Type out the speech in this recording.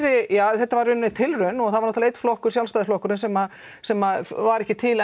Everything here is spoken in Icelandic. þetta tilraun og það var einn flokkur Sjálfstæðisflokkurinn sem sem var ekki til